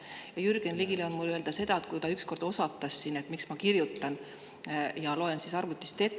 Ja Jürgen Ligile on mul öelda seda, et ükskord ta osatas siin, et miks ma kirjutan ja loen siis arvutist ette.